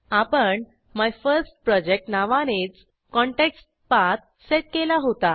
आपण MyFirstProjectनावानेच context path set केला होता